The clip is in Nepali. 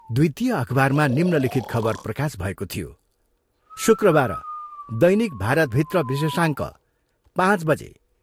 द्वितीय अखबारमा निम्नलिखित खबर प्रकाश भएको थियो शुक्रवार, दैनिक भारतभित्र विशेषाङ्क, पाँच बजे